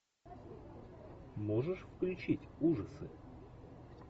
можешь включить ужасы